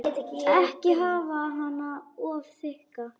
Ekki hafa hana of þykka.